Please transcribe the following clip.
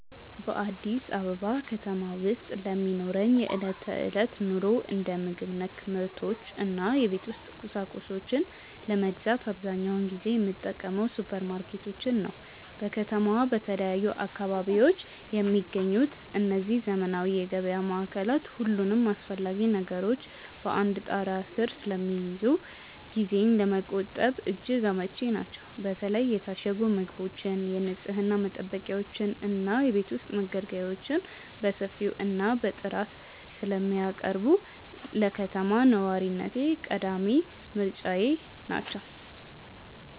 በአዲስ አበባ ከተማ ውስጥ ለሚኖረኝ የዕለት ተዕለት ኑሮ፣ እንደ ምግብ ነክ ምርቶች እና የቤት ውስጥ ቁሳቁሶችን ለመግዛት አብዛኛውን ጊዜ የምጠቀመው ሱፐርማርኬቶችን ነው። በከተማዋ በተለያዩ አካባቢዎች የሚገኙት እነዚህ ዘመናዊ የገበያ ማዕከላት፣ ሁሉንም አስፈላጊ ነገሮች በአንድ ጣሪያ ስር ስለሚይዙ ጊዜን ለመቆጠብ እጅግ አመቺ ናቸው። በተለይ የታሸጉ ምግቦችን፣ የንፅህና መጠበቂያዎችን እና የቤት ውስጥ መገልገያዎችን በሰፊው እና በጥራት ስለሚያቀርቡ፣ ለከተማ ነዋሪነቴ ቀዳሚ ምርጫዬ ናቸው።